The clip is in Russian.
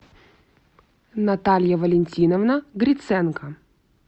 наталья валентиновна гриценко